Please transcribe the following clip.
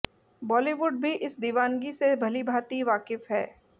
बॉलीवुड भी इस दिवानगी से भलीभांति वाकिफ है